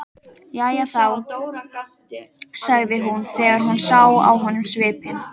Jæja þá, sagði hún þegar hún sá á honum svipinn.